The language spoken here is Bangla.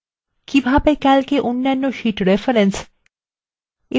calcএ অন্যান্য sheets reference এবং